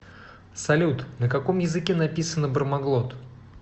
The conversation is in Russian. салют на каком языке написано бармаглот